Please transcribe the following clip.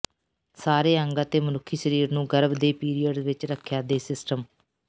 ਸਾਰੇ ਅੰਗ ਅਤੇ ਮਨੁੱਖੀ ਸਰੀਰ ਨੂੰ ਗਰਭ ਦੇ ਪੀਰੀਅਡ ਵਿੱਚ ਰੱਖਿਆ ਦੇ ਸਿਸਟਮ